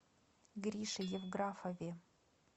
грише евграфове